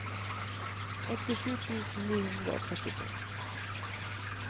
åttisju tusen ni hundre og trettito